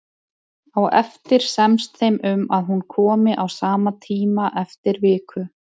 Á eftir semst þeim um að hún komi á sama tíma eftir viku.